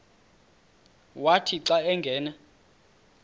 wathi xa angena